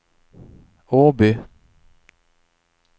Åby